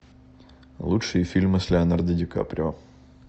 лучшие фильмы с леонардо ди каприо